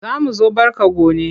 Za mu zo barka gone.